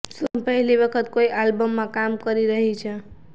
સોનમ પહેલી વખત કોઇ આલ્મબમાં કામ કરી રહી છે